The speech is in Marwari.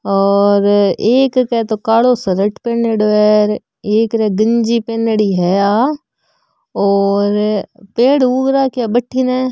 और एक के तो कालों शर्ट पहनीडो है एक र गंजी पहनडी है आ और पेड़ उग राखा है बठन --